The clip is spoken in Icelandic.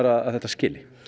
að þetta skili